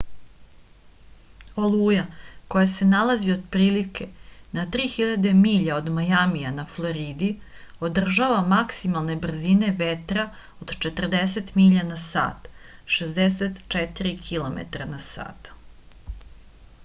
олуја која се налази отприлике на 3000 миља од мајамија на флориди одржава максималне брзине ветра од 40 миља на сат 64 km/h